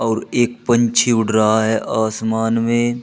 और एक पंछी उड़ रहा है आसमान में।